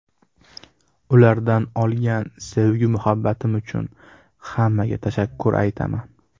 Ulardan olgan sevgi-muhabbatim uchun hammaga tashakkur aytaman.